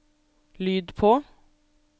lyd på